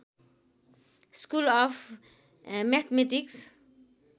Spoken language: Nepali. school of mathematics